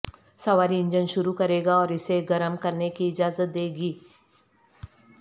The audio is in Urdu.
سواری انجن شروع کرے گا اور اسے گرم کرنے کی اجازت دے گی